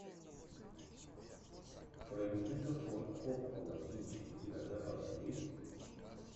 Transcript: френсиса форд коппола кинчик у тебя в запасе есть